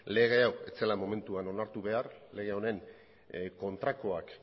lege hau ez zela momentuan onartu behar lege honen kontrakoak